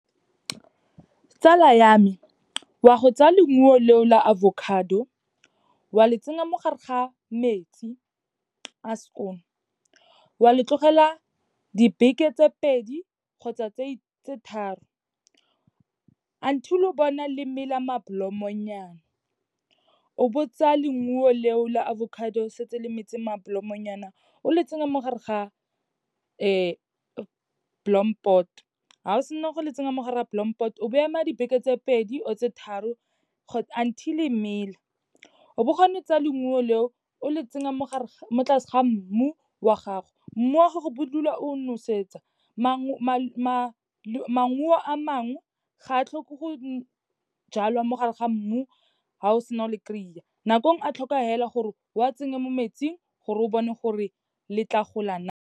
Tsala ya me, wa go tsaya leungo leo la avocado, wa le tsena mo gare ga metsi a skoon. Wa le tlogela dibeke tse pedi kgotsa tse tharo, until o bona le mela ma-blomme-nyana. O bo tsaya leungo leo la avocado, setse le metse ma-blomme-nyana, o le tsenya mo gare ga blompot. Ha o sena go le tsenyang mo gare ga blompot, o bo ema dibeke tse pedi or tse tharo until e mela. O bo gone o tsa leungo leo, o le tsenya mo tlase ga mmu wa gago. Mmu wa gago bo o dula o nosetsa. Maungo a mangwe, ga a tlhoke go jalwa mo gare ga mmu, ha o sena o le kry-a, nako engwe a tlhoka fela gore wa tsenye mo metsing, gore o bone gore le tla gola na.